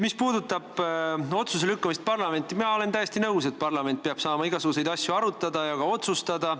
Mis puudutab otsustamise lükkamist parlamenti, siis mina olen täiesti nõus, et parlament peab saama igasuguseid asju arutada ja ka otsustada.